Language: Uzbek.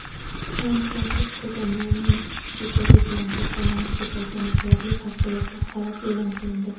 San-Fransiskoda maymun chechagi bilan kasallanish ko‘paygani sababli favqulodda holat eʼlon qilindi.